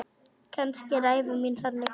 Kannski er ævi mín þannig.